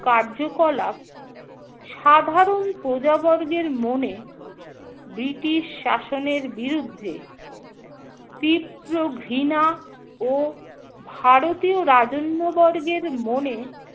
কার্যকলাপ সাধারণ প্রজাবর্গের মনে ব্রিটিশ শাসনের বিরুদ্ধে তীব্র ঘৃণা ও ভারতীয় রাজন্যবর্গের মনে